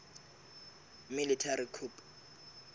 military coup